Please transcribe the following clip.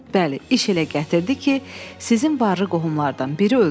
Bəli, iş elə gətirdi ki, sizin varlı qohumlardan biri öldü.